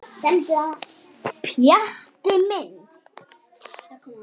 Pjatti minn.